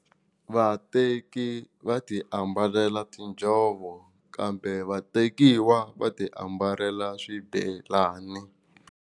Vateki va ti ambala tinjhovo kambe vatekiwa va ti ambala swibelani.